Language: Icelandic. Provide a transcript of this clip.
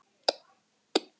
Konur eru fjórar, karlar sjö.